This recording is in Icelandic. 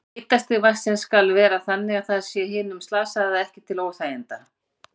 Hitastig vatnsins skal vera þannig að það sé hinum slasaða ekki til óþæginda.